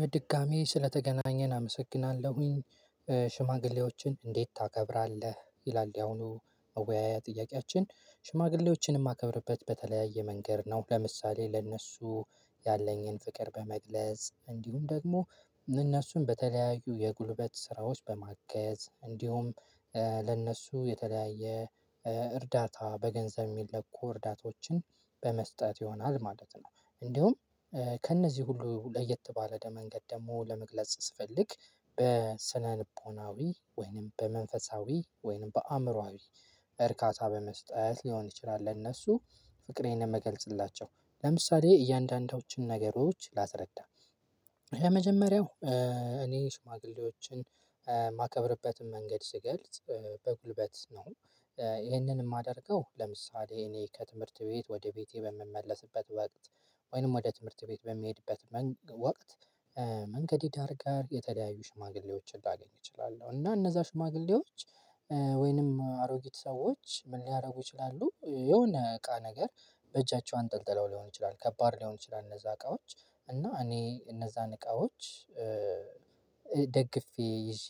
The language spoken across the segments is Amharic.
በድጋሚ ስለተገናኘን አመሰግናለሁኝ። ሽማግሌዎችን እንዴት ታከብራለህ? ይላል ያሁኑ መወያያ ጥያቄያችን። ሽማግሌዎችን የማከብርበት በተለያየ መንገድ ነው። ለምሳሌ ለእነሱ ያለኝን ፍቅር በመግለጽ፤ እንዲሁም ደግሞ እነሱን በተለያዩ የጉልበት ስራዎች በማገዝ እንዲሁም ለእነሱ የተለያየ እርዳታ በገንዘብ የሚለኩ እርዳታዎችን በመስጠት ይሆናል ማለት ነው። እንዲሁም ከእነዚህ ሁሉ ለየት ባለ መንገድ ደግሞ ለመግለጽ ስፈልግ በስነልቦናዊ ወይንም በመንፈሳዊ ወይንም በአእምሮአዊ እርካታ በመስጠት ሊሆን ይችላል ለእነሱ ፍቅሬን የምገልጽላቸው። ለምሳሌ እያንዳንዳቸውን ነገሮች ላስረዳ የመጀመሪያው እኔ ሽማግሌዎችን ማከብርበትም መንገድ ስገልጽ በጉልበት ነው። ይሄንን የማደርገው ለምሳሌ እኔ ከትምህርት ቤት ወደ ቤቴ በምመለስበት ወቅት ወይንም ወደ ትምህርት ቤት በሚሄድበት ወቅት መንገድ የዳር ጋር የተለያዩ ሽማግሌዎችን ላገኝ እችላለሁ። እና እነዛ ሽማግሌዎች ወይንም አሮጊት ሰዎች ምን ሊያደርጉ ይችላሉ የሆነ እቃ ነገር በእጃቸው አንጠልጥለው ሊሆን ይችላል። ከባድ ሊሆኑ ይችላል እነዛ እቃዎች። እና እኔ እነዛን እቃዎች ደግፌ ይዤ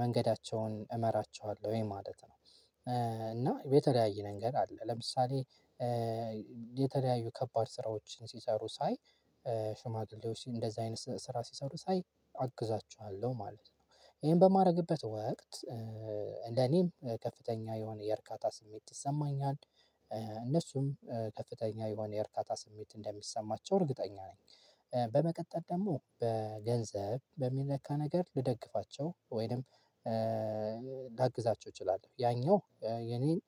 መንገዳቸውን እመራቸዋለሁኝ ማለት ነው። እና የተለያየ ምንገድ አለ። ለምሳሌ የተለያዩ ከባድ ስራዎችን ሲሰሩ ሳይ ሽማግሌዎች እንደዚህ አይነት ስራ ሲሰሩ ሳይ አግዛቸዋለሁ ማለት ነው። ይሄን በማድረግበት ወቅት ለኔም ከፍተኛ የሆነ የእርካታ ስሜት ይሰማኛል። እነሱም ከፍተኛ የሆነ የእርካታ ስሜት እንደሚሰማቸው እርግጠኛ ነኝ። በመቀጠል ደግሞ በገንዘብ በሚለካ ነገር ልደግፋቸው ወይንም ላግዛቸው እችላለሁ። ያኛው የኔን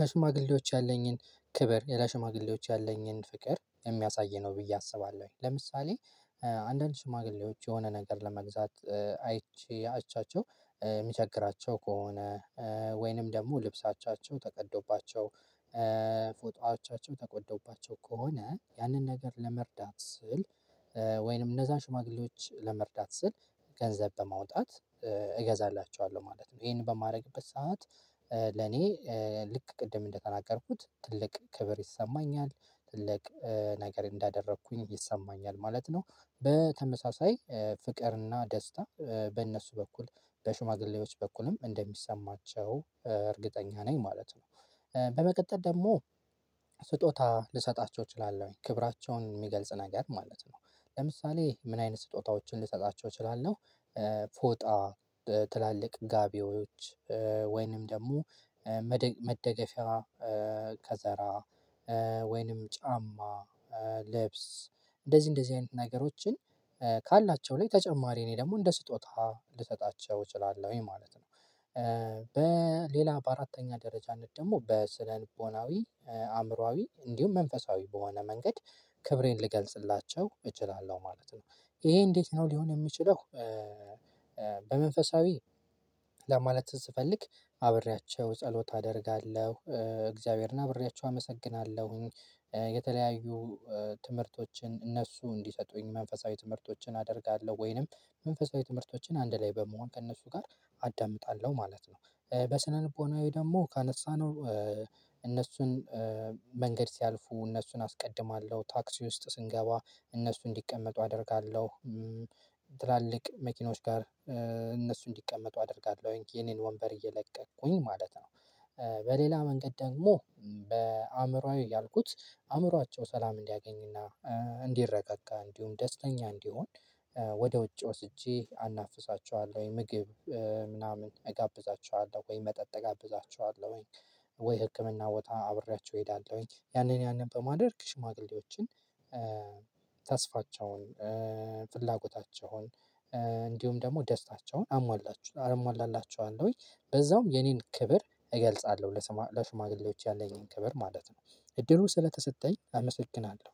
ለሽማግሌዎች ያለኝን ክብር ለሽማግሌዎች ያለኝን ፍቅር የሚያሳይ ነው ብዬ አስባለሁኝ። ለምሳሌ አንዳንድ ሽማግሌዎች የሆነ ነገር ለመግዛት አይቼ አይቻቸው የሚቸግራቸው ከሆነ ወይንም ደግሞ ልብሳቸው ተቀዶባቸው ፎጣዎቻቸው ተቀዶባቸው ከሆነ ያንን ነገር ለመርዳት ስል ወይንም እነዛን ሽማግሌዎች ለመርዳት ስል ገንዘብ በማውጣት እገዛላችኋለሁ ማለት ነው። ይሄን በማድረግበት ሰዓት ለኔ ልክ ቅድም እንደተናገርኩት ትልቅ ክብር ይሰማኛል። ትልቅ ነገር እንዳደረኩኝ ይሰማኛል ማለት ነው። በተመሳሳይ ፍቅርና ደስታ በእነሱ በኩል በሹማግሌዎች በኩልም እንደሚሰማቸው እርግጠኛ ነኝ ማለት ነው። በመቀጠል ደግሞ ስጦታ ልሰጣቸው እችላለሁኝ። ክብራቸውን የሚገልጽ ነገር ማለት ነው። ለምሳሌ ምን አይነት ስጦታዎችን ልሰጣቸው እችላለሁ፥ ፎጣ፣ ትላልቅ ጋቢዎች፣ ወይንም ደግሞ መደገፊያ ከዘራ ወይንም ጫማ፣ ልብስ እንደዚህ እንደዚህ አይነት ነገሮችን ካላቸው ላይ ተጨማሪ እኔ ደግሞ እንደ ስጦታ ልሰጣቸው እችላለሁኝ ማለት ነው። በሌላ በአራተኛ ደረጃነት ደግሞ በስነ ልቦናዊ አእምሮአዊ እንዲሁም መንፈሳዊ በሆነ መንገድ ክብሬን ልገልጽላቸው እችላለሁ ማለት ነው። ይሄ እንዴት ነው ሊሆን የሚችለው በመንፈሳዊ ለማለት ስፈልግ አብሬያቸው ጸሎት አደርጋለሁ። እግዚአብሔርን አብሬያቸው አመሰግናለሁኝ። የተለያዩ ትምህርቶችን እነሱ እንዲሰጡኝ መንፈሳዊ ትምህርቶችን አደርጋለሁ። ወይንም መንፈሳዊ ትምህርቶችን አንድ ላይ በመሆን ከእነሱ ጋር አዳምጣለሁ ማለት ነው። በስነ ልቦናዊ ደግሞ ካነሳነው እነሱን መንገድ ሲያልፉ እነሱን አስቀድማለሁ። ታክሲ ውስጥ ስንገባ እነሱ እንዲቀመጡ አደርጋለሁ። ትላልቅ መኪኖች ጋር እነሱ እንዲቀመጡ አደርጋለሁኝ። የኔን ወንበር እየለቀቅኩኝ ማለት ነው። በሌላ መንገድ ደግሞ በአእምሮአዊ ያልኩት አእምሯቸው ሰላም እንዲያገኝና እንዲረጋጋ እንዲሁም ደስተኛ እንዲሆን ወደ ውጭ ወስጄ አናፍሳቸዋለሁኝ። ምግብ ምናምን እጋብዛቸዋለሁ ወይ መጠጥ እጋብዛቸዋለሁኝ። ወይ ህክምና ቦታ አብሬያችሁ እሄዳለሁኝ። ያንን ያንን በማድረግ ሽማግሌዎችን ተስፋቸውን ፍላጎታቸውን እንዲሁም ደግሞ ደስታቸውን አሟላቸ አሟላላቸዋለሁኝ። በዛውም የኔን ክብር እገልጻለሁ ለሽማግሌዎች ያለኝን ክብር ማለት ነው። እድሉ ስለተሰጠኝ አመሰግናለሁ።